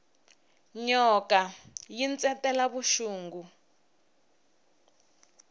nyoka yi ntsetela vuxungi